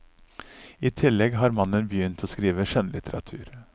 I tillegg har mannen begynt å skrive skjønnlitteratur.